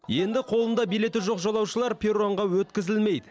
енді қолында билеті жоқ жолаушылар перронға өткізілмейді